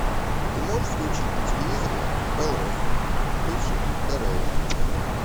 ты можешь включить на телевизоре белрос бывший тро